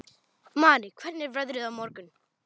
Marý, hvernig er veðrið á morgun?